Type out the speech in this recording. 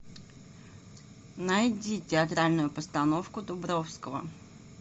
найди театральную постановку дубровского